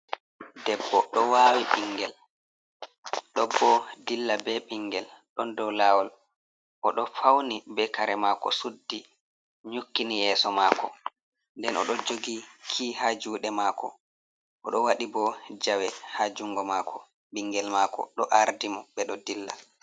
Debbo ɗo wawi ɓingel do bo dilla be ɓingel ɗon dow lawol o ɗo fauni be kare mako suddi nyukkini yeso mako. Nden o ɗo jogi ki ha juɗe mako o ɗo waɗi bo jawe ha jungo mako ɓingel mako ɗo ardi mo ɓe ɗo dilla.